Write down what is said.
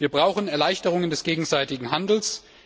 Wir brauchen Erleichterungen des gegenseitigen Handels.